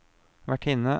vertinne